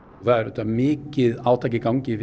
það er auðvitað mikið átak í gangi